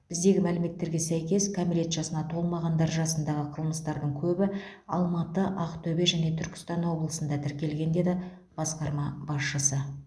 біздегі мәліметтерге сәйкес кәмелет жасына толмағандар жасындағы қылмыстардың көбі алматы ақтөбе және түркістан облысында тіркелген деді басқарма басшысы